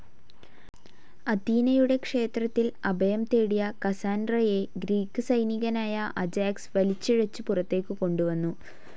അഥീനയുടെ ക്ഷേത്രത്തിൽ അഭയം തേടിയ കസാൻഡ്രയെ ഗ്രീക്ക് സൈനികനായ അജാക്സ് വലിച്ചിഴച്ചു പുറത്തേക്ക് കൊണ്ടുവന്നു.